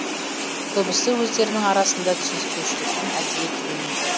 көбісі өздерінің арасында түсініспеушіліктен әдейі төлемейді